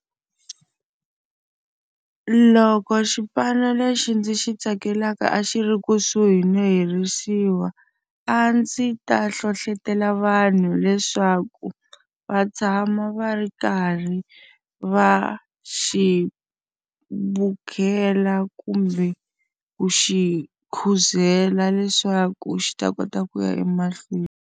Loko xipano lexi ndzi xi tsakelaka a xi ri kusuhi no herisiwa, a ndzi ta hlohletela vanhu leswaku va tshama va ri karhi va xi bukela kumbe ku xi khuzela leswaku xi ta kota ku ya emahlweni.